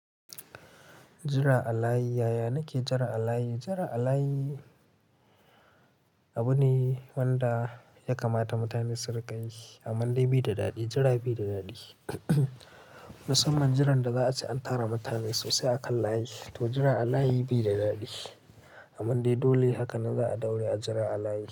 Jira alayi yaya nake jira alayi? Jira alayi abu ne wanda ya kamata mutane su rika yi, amande bi da daɗi jira bi da daɗi. Musamman jiran da za a ci an tara mutane sosai a kan layi to jira a layi bi da daɗi amande dole haka na za a daure a jira a layi.